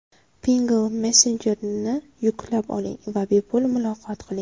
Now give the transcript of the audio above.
Pinngle messenjerini yuklab oling va bepul muloqot qiling!.